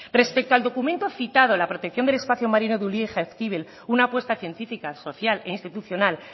respecto al documento citado la protección del espacio marino de ulia y jaizkibel una apuesta científica social e institucional